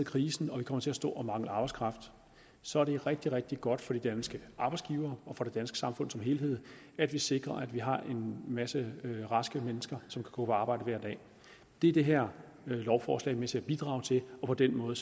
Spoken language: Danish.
krisen og kommer til at stå og mangle arbejdskraft så er det rigtig rigtig godt for de danske arbejdsgivere og for det danske samfund som helhed at vi sikrer at vi har en masse raske mennesker som kan gå på arbejde hver dag det er det her lovforslag med til at bidrage til og på den måde